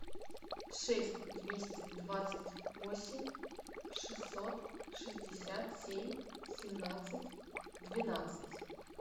шесть двести двадцать восемь шестьсот шестьдесят семь семнадцать двенадцать